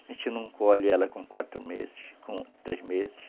A gente não colhe ela com quatro meses, com três meses.